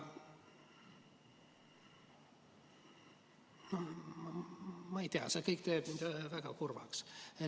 Ma ei tea, see kõik teeb mind väga kurvaks.